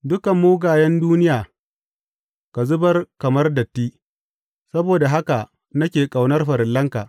Dukan mugayen duniya ka zubar kamar datti; saboda haka nake ƙaunar farillanka.